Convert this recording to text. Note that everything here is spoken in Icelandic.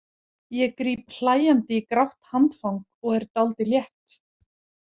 Ég gríp hlæjandi í grátt handfang og er dálítið létt.